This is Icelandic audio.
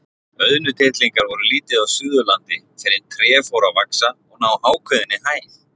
Auðnutittlingar voru lítið á Suðurlandi fyrr en tré fóru að vaxa og ná ákveðinni hæð.